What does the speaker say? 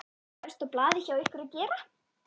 Hvað er efst á blaði hjá ykkur að gera?